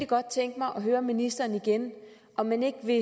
godt tænke mig at høre ministeren igen om man ikke vil